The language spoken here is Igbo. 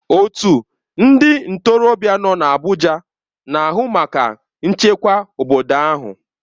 Otu ndị ntorobịa nọ n'Abuja na-ahụ maka nchekwa obodo ahụ.